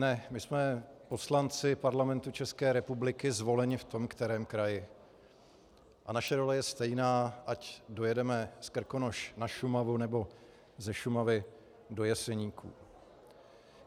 Ne, my jsme poslanci Parlamentu České republiky zvolení v tom kterém kraji a naše role je stejná, ať dojedeme z Krkonoš na Šumavu nebo ze Šumavy do Jeseníků.